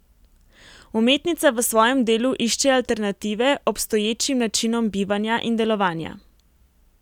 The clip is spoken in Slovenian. Umetnica v svojem delu išče alternative obstoječim načinom bivanja in delovanja.